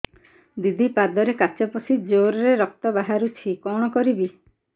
ଦିଦି ପାଦରେ କାଚ ପଶି ଜୋରରେ ରକ୍ତ ବାହାରୁଛି କଣ କରିଵି